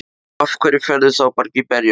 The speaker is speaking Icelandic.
Af hverju ferðu þá ekki bara í berjamó?